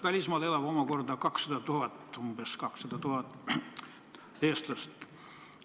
Välismaal elab omakorda umbes 200 000 eestlast.